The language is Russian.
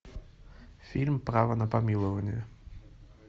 фильм право на помилование